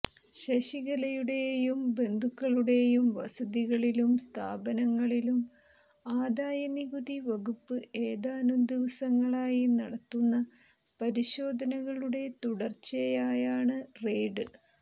ശശികലയുടെയും ബന്ധുക്കളുടെയും വസതികളിലും സ്ഥാപനങ്ങളിലും ആദായനികുതി വകുപ്പ് ഏതാനും ദിവസങ്ങളായി നടത്തുന്ന പരിശോധനകളുടെ തുടര്ച്ചയയാണ് റെയ്ഡ്